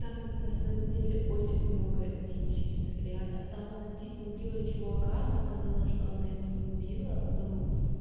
там на самом деле очень много дичи реально там она типа убила чувака но оказалось что она его не убила а потом